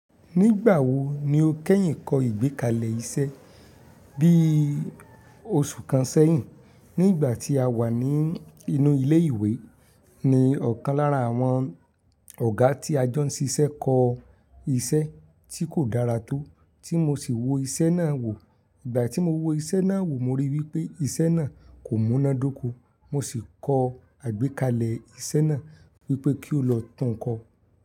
Nígbà wo ni o kẹ́yìn kọ ìgbékalẹ̀ iṣẹ́? Bí oṣù kan sẹ́yìn, nígbà tí a wà ní inú ilé ìwé ni ọ̀kan lára àwọn ọ̀gá tí a jọ ń ṣiṣẹ́ kọ iṣẹ́ tí kò dára tó, tí mo sì wo iṣẹ́ náà wò. Ìgbà tí mo wo iṣẹ́ náà wò mo ríi wípé iṣẹ́ náà kò múná dóko, mo sì kọ àgbékalẹ̀ iṣẹ́ náà wípé kí o lọ tún-un kọ.